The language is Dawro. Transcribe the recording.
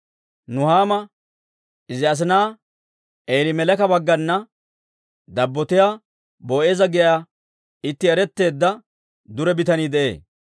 Nuhaamiw izi asina Eelimeleeka bagganna dabbotiyaa, Boo'eeza giyaa itti eretteedda dure bitanii de'ee.